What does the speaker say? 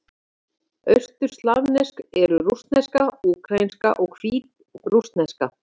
Austurslavnesk eru: rússneska, úkraínska og hvítrússneska.